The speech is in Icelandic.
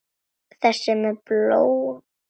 Þessi með bóluna?